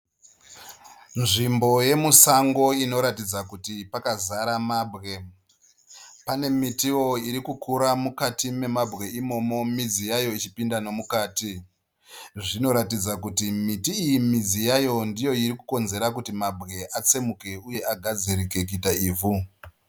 Nzvimbo yemusango inoratidza kuti pakazara mabwe. Panemitiwo irikukura mukati memabwe imomo midzi yayo ichipinda nemukati. Zvinoratidza kuti miti iyi midzi yayo ndiyo irikukonzera kuti mabwe atsemuke uye agadzirike kuita ivhu.